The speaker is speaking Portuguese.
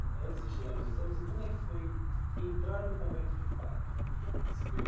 Então, antes de chegar nos exames, e como é que foi entrar no convento de fato, esse período?